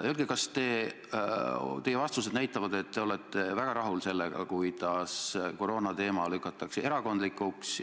Öelge, kas teie vastused näitavad, et te olete väga rahul sellega, kuidas koroonateema lükatakse erakondlikuks